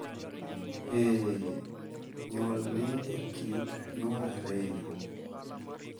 Ee, nyuol, ni e, kit nyuol ariyo,